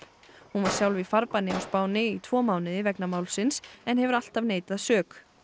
hún var sjálf í farbanni á Spáni í tvo mánuði vegna málsins en hefur alltaf neitað sök